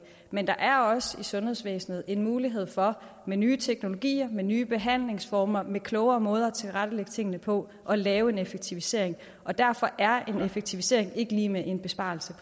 men der er også i sundhedsvæsenet en mulighed for med nye teknologier med nye behandlingsformer med klogere måder at tilrettelægge tingene på at lave en effektivisering og derfor er en effektivisering ikke lig med en besparelse